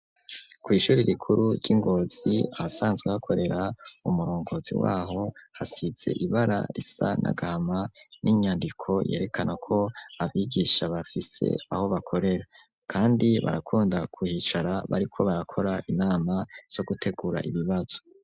Kw'Ishuri rikuru ry'Ingozi ahasanzwe hakorera umurongozi waho hasize ibara risa n'agahama n'inyandiko yerekana ko abigisha bafise aho bakorera, kandi barakunda kuhicara bariko barakora inama zo gutegura ibibazo.